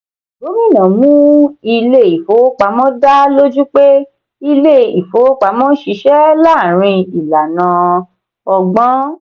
gómìnà mú ilé ìfowópamọ́ dà lójú pé ilé ìfowópamọ́ ń ṣiṣẹ́ láàárín ìlànà ọgbọ́n.